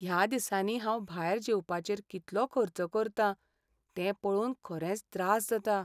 ह्या दिसांनी हांव भायर जेवपाचेर कितलो खर्च करता तें पळोवन खरेंच त्रास जाता .